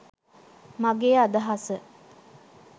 මගේ අදහස.